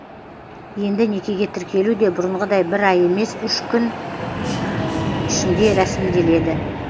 енді некеге тіркелу де бұрынғыдай бір ай емес үш күн ішінде рәсімделеді